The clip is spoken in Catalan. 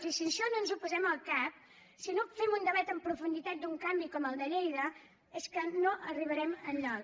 i si això no ens ho posem al cap si no fem un debat en profunditat d’un canvi com el de lleida és que no arribarem enlloc